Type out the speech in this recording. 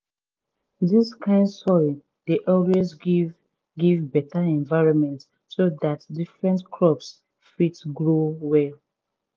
dis kind soil dey always give give beta environment so dat different crops fit grow well.